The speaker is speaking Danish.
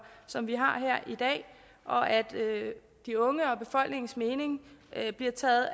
som vi har her i dag og at de unge og befolkningens mening bliver taget